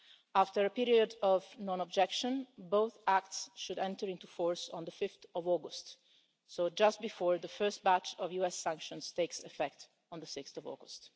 After a period of non-objection, both acts should enter into force on 5 August, just before the first batch of US sanctions takes effect on 6 August.